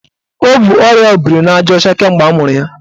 O bu ọrịa obirinajaọcha kemgbe amụrụ ya.